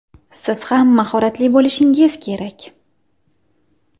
Siz ham mahoratli bo‘lishingiz kerak.